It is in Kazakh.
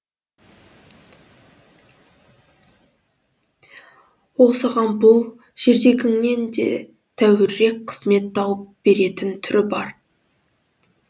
ол саған бұл жердегіңнен де тәуірірек қызмет тауып беретін түрі бар